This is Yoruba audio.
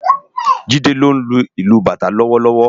Jide ló nlú ilù bátã lòwòlòwò